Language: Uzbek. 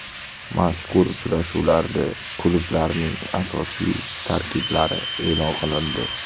Mazkur uchrashuvlarda klublarning asosiy tarkiblari e’lon qilindi.